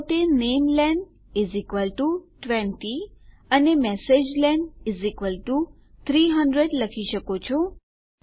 તો તમે નામેલેન 20 અને મેસેજલેન ૩૦૦ લખી શકો છો